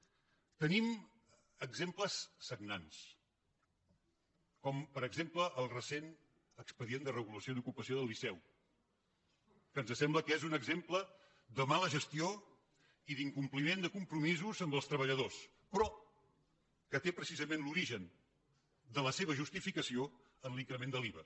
tenim exemples sagnants com per exemple el recent expedient de regulació d’ocupació del liceu que ens sembla que és un exemple de mala gestió i d’incompliment de compromisos amb els treballadors però que té precisament l’origen de la seva justificació en l’increment de l’iva